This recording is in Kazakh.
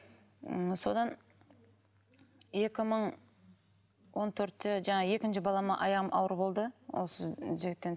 м содан екі мың он төртте жаңағы екінші балама аяғым ауыр болды осы жігіттен